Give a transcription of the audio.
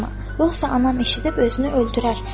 Yoxsa anam eşidib özünü öldürər.